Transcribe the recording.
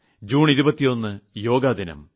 June 21 യോഗാദിനം